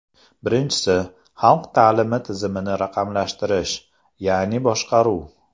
Birinchisi, xalq ta’limi tizimini raqamlashtirish, ya’ni boshqaruv.